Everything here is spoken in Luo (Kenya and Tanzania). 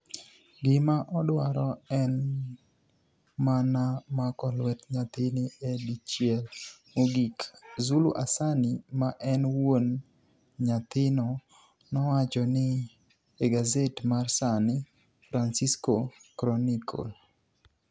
Gima odwaro eni mania mako lwet niyathini e dichiel mogik,' Zulu Asani ma eni wuoni niyathino nowacho ni e gaset mar Sani Franicisco Chroniicle.